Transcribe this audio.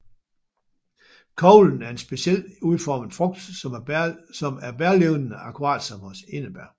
Koglen er en specielt udformet frugt som er bærlignende akkurat som hos enebær